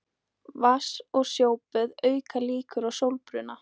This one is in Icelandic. Vatns- og sjóböð auka líkur á sólbruna.